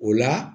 O la